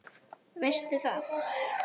Veistu það?